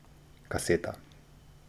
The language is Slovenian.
Kaseta.